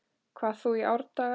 hvað þú í árdaga